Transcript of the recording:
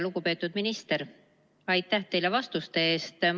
Lugupeetud minister, aitäh teile vastuste eest!